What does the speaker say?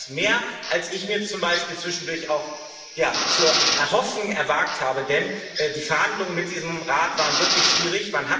Aber er ist mehr, als ich mir zum Beispiel zwischendurch zu erhoffen gewagt habe, denn die Verhandlungen mit diesem Rat waren wirklich schwierig.